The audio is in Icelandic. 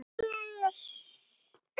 Fínn völlur.